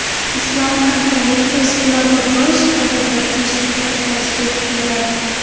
Islom hamkorlik tashkiloti bosh kotibi Toshkentga tashrif buyuradi.